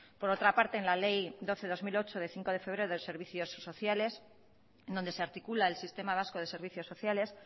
por otra parte en la ley doce barra dos mil ocho de cinco de febrero de los servicios sociales donde se articula el sistema vasco de servicios sociales